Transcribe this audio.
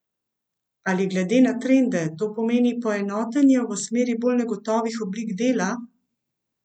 Ali glede na trende to pomeni poenotenje v smeri bolj negotovih oblik dela?